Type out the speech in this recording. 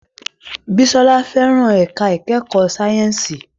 Bisola fẹ́ràn ẹ̀ka ìkẹ́kọ̀ọ́ sáyẹ́ǹsì